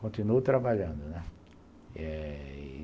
Continuo trabalhando, né? e...